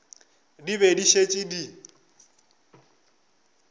di be di šetše di